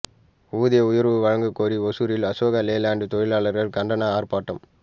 ஊதிய உயர்வு வழங்க கோரி ஓசூரில் அசோக் லேலண்ட் தொழிலாளர்கள் கண்டன ஆர்ப்பாட்டம்